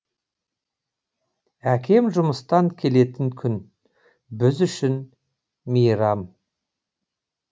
әкем жұмыстан келетін күн біз үшін мейрам